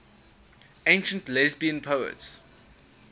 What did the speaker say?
ancient lesbian poets